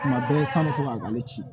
Tuma bɛɛ sanutɔ a ka ne ci